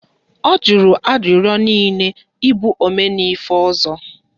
Ọ jụrụ arịrịọ niile ị bụ 'Omenife' ọzọ